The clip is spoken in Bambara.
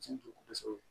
Cɛ jugu kosɛbɛ